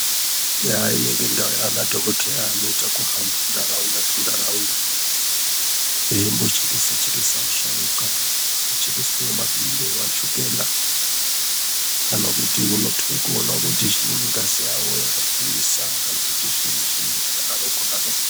Eyaa inenge ndau yana dhokodheya anoita kuhamba ndaraunda tu ndaraunda eimbo chekese chekese asharuka ku chekeswe ma chukela kana kuti unotwe kuoona kuti chiinyi ngazi ravo raka kwirisa kana kuti zvinyi zvinyi zvaka daroko daroko.